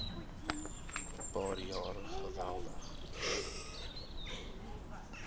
paar jaar geweldig